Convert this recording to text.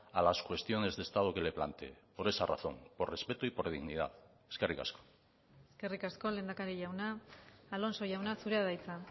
a las cuestiones de estado que le planteé por esa razón por respeto y por dignidad eskerrik asko eskerrik asko lehendakari jauna alonso jauna zurea da hitza